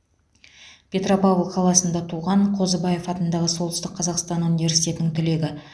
петропавл қаласында туған қозыбаев атындағы солтүстік қазақстан университетінің түлегі